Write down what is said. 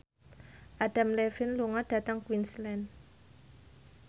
Adam Levine lunga dhateng Queensland